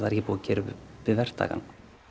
er ekki búið að gera upp við verktakann